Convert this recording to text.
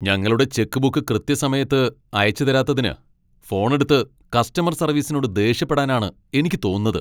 ഞങ്ങളുടെ ചെക്ക്ബുക്ക് കൃത്യസമയത്ത് അയച്ചുതരാത്തതിന് ഫോൺ എടുത്ത് കസ്റ്റമർ സർവീസിനോട് ദേഷ്യപ്പെടാനാണ് എനിക്ക് തോന്നുന്നത്.